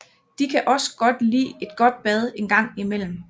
De kan også godt lide et godt bad engang imellem